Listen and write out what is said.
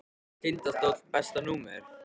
Tindastóll Besta númer?